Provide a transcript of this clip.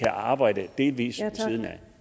arbejde delvis